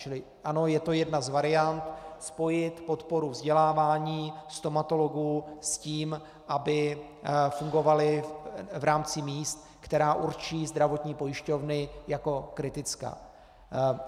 Čili ano, je to jedna z variant spojit podporu vzdělávání stomatologů s tím, aby fungovali v rámci míst, která určí zdravotní pojišťovny jako kritická.